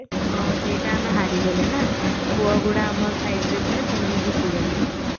ହଁ ସେଇଟା ଆମେ ହରିଗଲେ ନା ପୁଅଗୁଡା ଆମ site ରେ ଥିଲେ ସେମାନେ ଜିତିଗଲେ